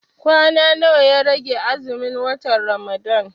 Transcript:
Kwana nawa ya rage azumin watan Ramadan?